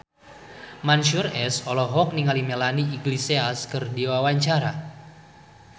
Mansyur S olohok ningali Melanie Iglesias keur diwawancara